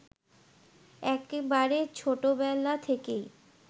একেবারে ছোটবেলা থেকেই